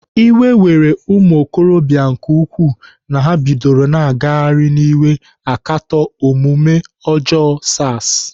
Iwe were ụmụokorobịa nke ukwuu na ha bidoro na-agagharị n'iwe akatọ omume ọjọọ SARs.